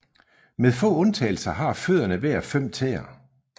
Med få undtagelser har fødderne hver fem tæer